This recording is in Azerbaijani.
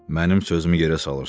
Mənim sözümü yerə salırsan?